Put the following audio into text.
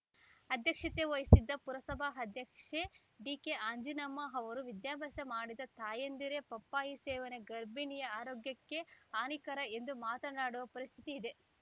ಅಧ್ಯಕ್ಷತೆ ವಹಿಸಿದ್ದ ಪುರಸಭಾ ಅಧ್ಯಕ್ಷೆ ಡಿಕೆಅಂಜಿನಮ್ಮ ಅವರು ವಿದ್ಯಾಭ್ಯಾಸ ಮಾಡಿದ ತಾಯಂದಿರೇ ಪಪ್ಪಾಯಿ ಸೇವನೆ ಗರ್ಭಿಣಿಯ ಆರೋಗ್ಯಕ್ಕೆ ಹಾನಿಕರ ಎಂದು ಮಾತಾಡುವ ಪರಿಸ್ಥಿತಿ ಇದೆ